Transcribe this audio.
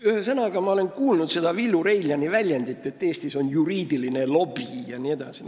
Ühesõnaga, ma olin kuulnud seda Villu Reiljani väidet, et Eestis on juriidiline lobi jne.